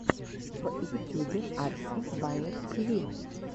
в ютюбе арси баер тиви